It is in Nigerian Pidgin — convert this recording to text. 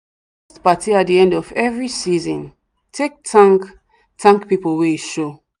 she dey host paty at the end of every season take thank thank people wey show